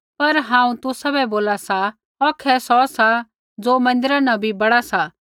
पर हांऊँ तुसाबै बोला सा औखै सौ सा ज़ो मन्दिरा न बी बड़ा सा